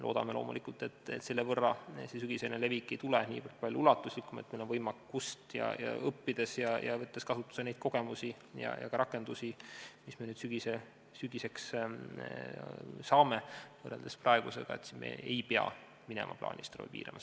Loodame loomulikult, et see sügisene levik ei tule nii palju ulatuslikum, ja meil on võimalik võtta kasutusele neid kogemusi ja ka rakendusi, mis me nüüd sügiseks saame, siis me ei pea minema plaanilist ravi piirama.